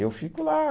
Eu fico lá.